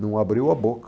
Não abriu a boca.